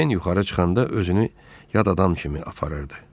Pen yuxarı çıxanda özünü yad adam kimi aparırdı.